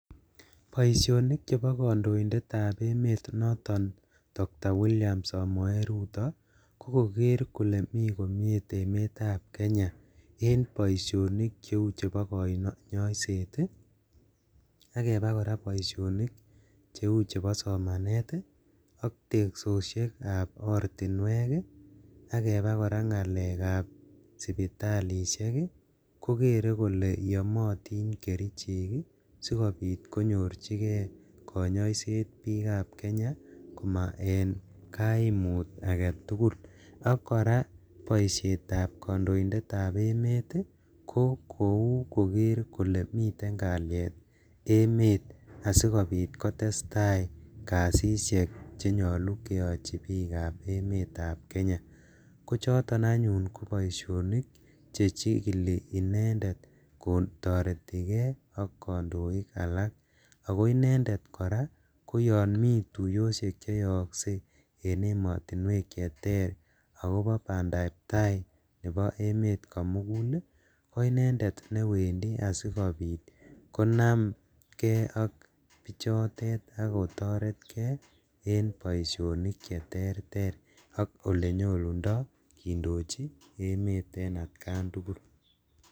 Boisionik chebo kondoindetab emet noton Doctor William Samoe Ruto kokoker kole mi komie emetab Kenya en boisionik cheu chebo konyoiset ii, ak kebaa koraa boisionik cheu chebo somanet ii ak teksoshekab ortinwek ii ak kebaa koraa ngalekab sipitalishek ii kokere kole yomotin kerichek ii sikobit konyorjigee konyoiset bikab kenya koma en kaimut aketugul, ak koraa boishetab kondoindetab emet ii ko kou koker kole miten kaliet emet asikobit kotestaa kasishek chenyolu keyochi bikab emetab Kenya, kochoton anyun koboishonik chechikili inendet kotoreti kee ak kondoik allak, ako inendet koyon mi tuyoshek koraa cheyookse en emotinuek cheter akobo bandab tai nebo emet komugul ii ko inendet newendi asikobit konamngee ak bichotet ak kotoret kee en boisionik cheterter ak elenyolundo kindochi emet en atkan tugul.